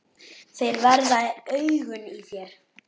Þeir verða augun í þér.